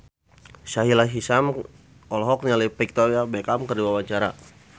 Sahila Hisyam olohok ningali Victoria Beckham keur diwawancara